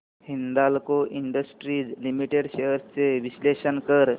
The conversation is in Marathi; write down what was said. हिंदाल्को इंडस्ट्रीज लिमिटेड शेअर्स चे विश्लेषण कर